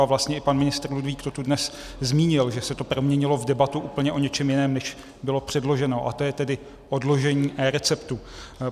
A vlastně i pan ministr Ludvík to tu dnes zmínil, že se to proměnilo v debatu úplně o něčem jiném, než bylo předloženo, a to je tedy odložení eReceptu.